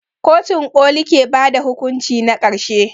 Kotun ƙoli ke ba da hukunci na ƙarshe.